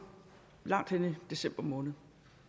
langt inde i december måned